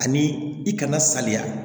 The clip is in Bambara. Ani i kana saliya